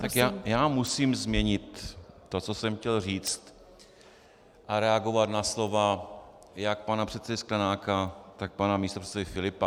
Tak já musím změnit to, co jsem chtěl říct, a reagovat na slova jak pana předsedy Sklenáka, tak pana místopředsedy Filipa.